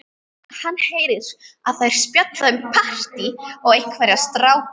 Hann heyrir að þær spjalla um partí og einhverja stráka.